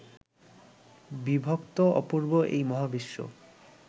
বিভক্ত অপূর্ব এই মহাবিশ্ব